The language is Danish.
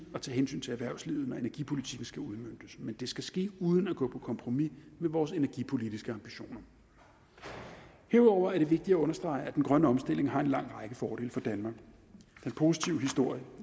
at tage hensyn til erhvervslivet når energipolitikken skal udmøntes men det skal ske uden at vi går på kompromis med vores energipolitiske ambitioner herudover er det vigtigt at understrege at den grønne omstilling har en lang række fordele for danmark den positive historie